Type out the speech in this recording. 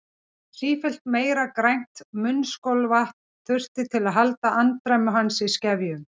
Sífellt meira grænt munnskolvatn þurfti til að halda andremmu hans í skefjum.